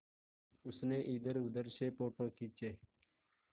उसने इधरउधर से फ़ोटो खींचे